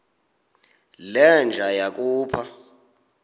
le nja yakhupha